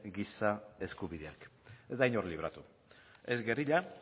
giza eskubideak ez da inor libratu ez gerrilla